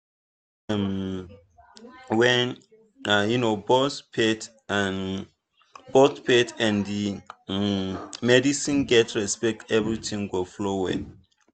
um when um both faith um both faith and um medicine get respect everything go flow well.